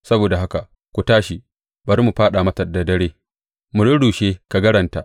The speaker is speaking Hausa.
Saboda haka ku tashi, bari mu fāɗa mata da dare mu rurrushe kagaranta!